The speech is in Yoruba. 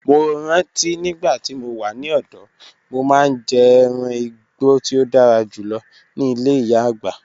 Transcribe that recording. Mo ranti nigbati mo wa ni ọdọ, mo maa n jẹ ẹran igbo ti o dara julọ ni ile iya-agba